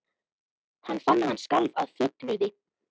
Hann fann að hann skalf af fögnuði.